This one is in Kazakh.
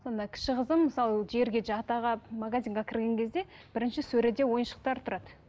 сонда кіші қызым мысалы жерге жата қалып магазинге кірген кезде бірінші сөреде ойыншықтар тұрады